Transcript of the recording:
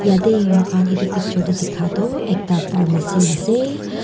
yatae mokhan edu picture tae dikha tu ekta farmacy ase.